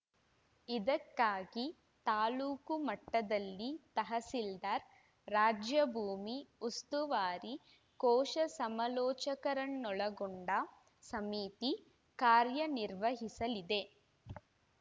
ಇದಕ್ಕಾಗಿ ತಾಲೂಕು ಮಟ್ಟದಲ್ಲಿ ತಹಸೀಲ್ದಾರ್‌ ರಾಜ್ಯ ಭೂಮಿ ಉಸ್ತುವಾರಿ ಕೋಶ ಸಮಾಲೋಚಕರನ್ನೊಳಗೊಂಡ ಸಮಿತಿ ಕಾರ‍್ಯನಿರ್ವಹಿಸಲಿದೆ